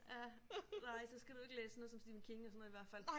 Ja nej så skal du ikke læse sådan noget som Stephen King og sådan noget i hvert fald